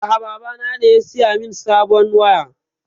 A'a, baba na ne ya saya min sabon waya.